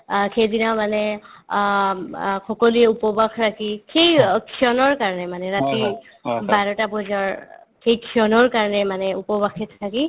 অ, সেইদিনা মানে অম্ অ সকলোৱে উপবাস ৰাখি সেই ক্ষণৰ কাৰণে মানে ৰাতি বাৰটা বজাৰ সেই ক্ষণৰ কাৰণে মানে উপবাসে থাকি